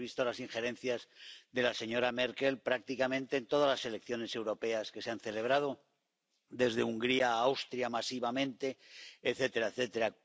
Hemos visto las injerencias de la señora Merkel prácticamente en todas las elecciones europeas que se han celebrado desde Hungría a Austria masivamente, etcétera, etcétera.